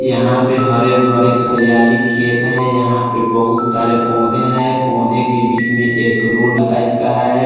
यहाँ पे हरे भरे खरियाली खेत हैं यहाँ पे बहुत सारे पौधे हैं पौधे के बीच में एक रोड टाइप का है।